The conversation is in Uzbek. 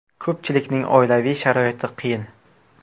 Ko‘pchiligining oilaviy sharoiti qiyin.